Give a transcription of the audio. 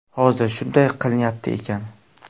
Hozir shunday qilinyapti ekan.